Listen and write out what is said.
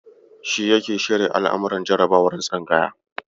Shi yake shirya al'amuran jarabawar tsangaya.